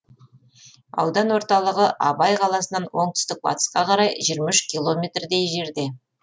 аудан орталығы абай қаласынан оңтүстік батысқа қарай жиырма үш километрдей жерде